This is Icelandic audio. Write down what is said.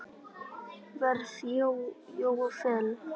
verð Jóa Fel.